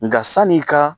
Nka san'i ka